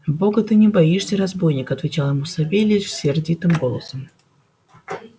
бога ты не боишься разбойник отвечал ему савельич сердитым голосом